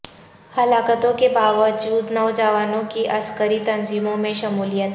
ہلاکتوں کے باوجود نوجوانوں کی عسکری تنظیموں میں شمولیت